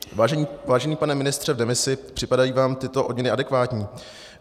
Vážený pane ministře v demisi, připadají vám tyto odměny adekvátní?